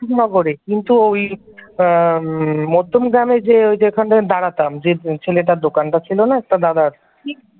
করে কিন্তু ঐ এ আম মধ্যমগ্রামের যে ওই যে যেখানে দাঁড়াতাম যে ছেলেটার দোকানটা ছিল না একটা দাদার